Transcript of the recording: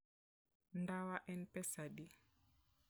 Ndawa en pesa adi?